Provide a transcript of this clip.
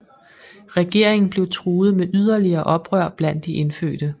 Regeringen blev truet med yderligere oprør blandt de indfødte